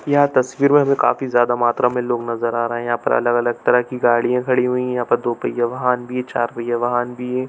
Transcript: यह तस्वीर मे काफी ज्यादा मात्रा लोग नजर आ रहे है यहाँ पर अगल-अगल तरह की गाड़ियाँ खड़ी हुई है यहाँ दो पहिया वाहन भी चार पहिया वाहन भी है।